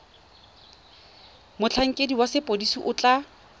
motlhankedi wa sepodisi o tla